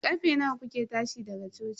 Karfe nawa kuke tashi daga coci?